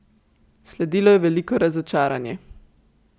Sledilo je veliko razočaranje.